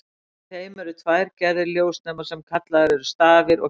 Í þeim eru tvær gerðir ljósnema, sem kallaðir eru stafir og keilur.